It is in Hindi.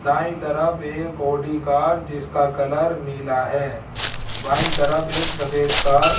दाईं तरफ एक ऑडी कार जिसका कलर नीला है बाईं तरफ एक सफेद कार --